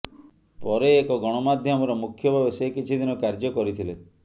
ପରେ ଏକ ଗଣମାଧ୍ୟମର ମୁଖ୍ୟ ଭାବେ ସେ କିଛି ଦିନ କାର୍ଯ୍ୟ କରିଥିଲେ